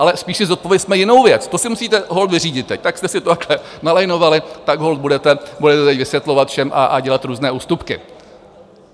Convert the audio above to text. Ale spíš si zodpovězme jinou věc, to si musíte holt vyřídit teď, tak jste si to takhle nalajnovali, tak holt budete teď vysvětlovat všem a dělat různé ústupky.